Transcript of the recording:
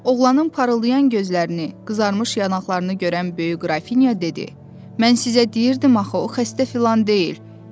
Oğlanın parıldayan gözlərini, qızarmış yanaqlarını görən Böyük Qrafinya dedi: "Mən sizə deyirdim axı o xəstə filan deyil."